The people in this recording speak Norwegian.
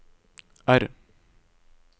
R